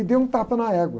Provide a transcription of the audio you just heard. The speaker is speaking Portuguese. E deu um tapa na égua.